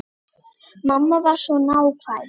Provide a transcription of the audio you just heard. Mamma var svo nákvæm.